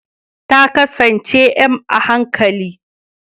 Ta kasance m a hankali